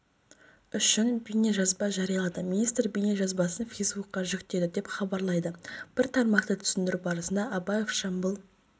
үшін бейнежазба жариялады министр бейнежазбасын фейсбукқа жүктеді деп хабарлайды бір тармақты түсіндіру барысында абаев жамбыл